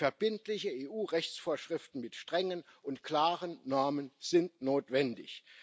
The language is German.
Verbindliche EU Rechtsvorschriften mit strengen und klaren Normen sind notwendig.